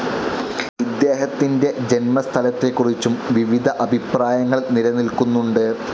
ഇദ്ദേഹത്തിൻ്റെ ജന്മസ്ഥലത്തെക്കുറിച്ചും വിവിധ അഭിപ്രായങ്ങൾ നിലനിൽക്കുന്നുണ്ട്.